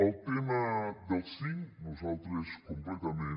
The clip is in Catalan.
el tema del cinc nosaltres completament